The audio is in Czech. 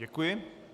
Děkuji.